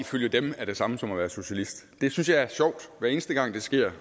ifølge dem er det samme som at være socialist hver eneste gang det sker